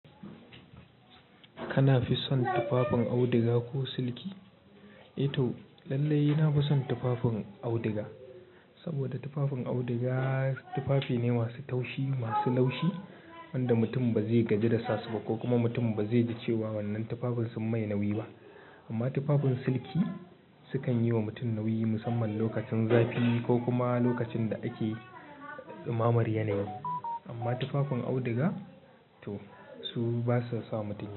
Kana fin son tufafin auduga ko silki. Eh toh lallai ina fi son tufafin auduga. Saboda tufafin auduga tufafi ne masu taushi, masu laushi wanda mutum ba zai gaji da sasu ba ko kuma mutum ba zai ji cewa wannan tufafin sun mai nauyi ba. Amma tufafin silki sukan yi wa mutum nauyi musamman lokacin zafi ko kuma lokacin da ake dumamar yanayi. Amma tufafin auduga toh su basa sa mutum nauyi.